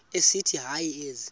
esithi hayi ezi